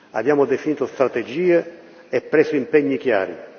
Abbiamo definito strategie e preso impegni chiari.